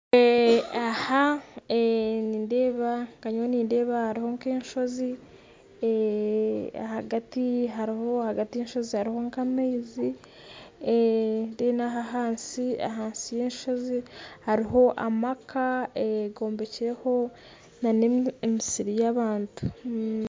Nindeeba hariho nka enshozi ahagati y'enshozi hariho nka amaizi ahansi y'enshozi hariho amaka gombekireho nana emisiri ya abantu.